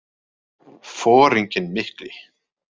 Foringinn mikli.